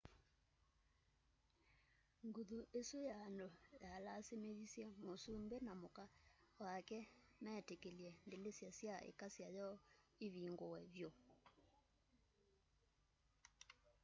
nguthu isu ya andu yalasimithisye masumbi na muka wake metikilye ndilisya sya ikasya yoo ivinguw vyu